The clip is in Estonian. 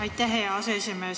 Aitäh, hea aseesimees!